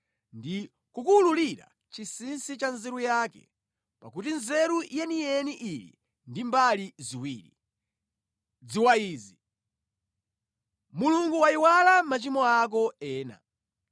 ndi kukuwululira chinsinsi cha nzeru yake, pakuti nzeru yeniyeni ili ndi mbali ziwiri. Dziwa izi: Mulungu wayiwala machimo ako ena.